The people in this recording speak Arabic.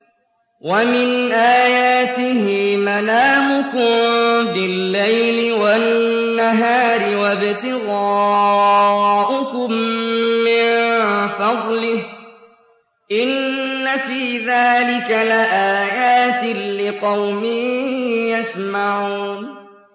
وَمِنْ آيَاتِهِ مَنَامُكُم بِاللَّيْلِ وَالنَّهَارِ وَابْتِغَاؤُكُم مِّن فَضْلِهِ ۚ إِنَّ فِي ذَٰلِكَ لَآيَاتٍ لِّقَوْمٍ يَسْمَعُونَ